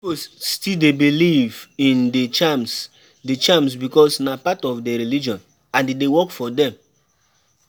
Pipo still dey believe in di charms di charms because na part of their religion and e dey work for them